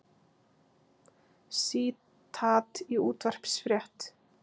Sítat í útvarpsfrétt